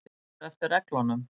Fara verður eftir reglunum